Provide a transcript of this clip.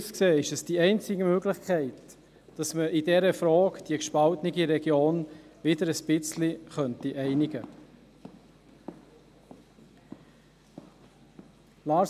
Aus meiner Sicht ist es die einzige Möglichkeit, dass man in dieser Frage die gespaltene Region wieder ein wenig einigen könnte.